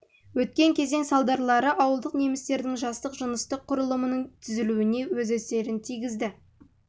өткен кезең салдарлары ауылдық немістердің жастық жыныстық құрылымының түзілуіне өз әсерін тигізді